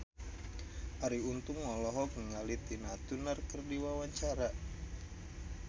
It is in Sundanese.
Arie Untung olohok ningali Tina Turner keur diwawancara